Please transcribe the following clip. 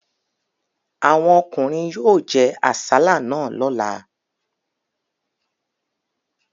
Àwọn ọkùnrin yóò jẹ àsálà náà lọ́la.